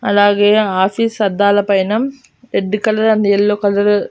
అలాగే ఆఫీస్ అద్దాల పైన red colour and yellow colour --